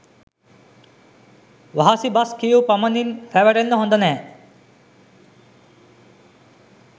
වහසි බස් කියූ පමණින් රැවටෙන්න හොඳ නෑ.